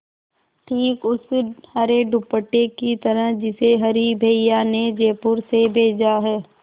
ठीक उस हरे दुपट्टे की तरह जिसे हरी भैया ने जयपुर से भेजा है